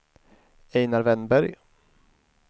Einar Wennberg